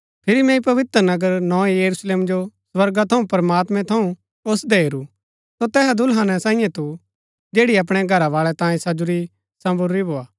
फिरी मैंई पवित्र नगर नोए यरूशलेम जो स्वर्गा थऊँ प्रमात्मैं थऊँ ओसदै हेरू सो तैहा दुल्हन सांईये थू जैड़ी अपणै घरवाळै तांयें सजुरी संबरूरी भोआ